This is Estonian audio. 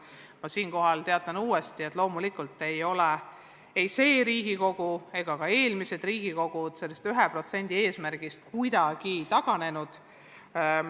Ma teatan uuesti, et loomulikult ei ole see Riigikogu ega ka eelmised koosseisud sellest 1% eesmärgist kuidagi taganenud.